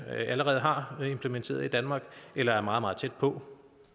allerede har implementeret i danmark eller er meget meget tæt på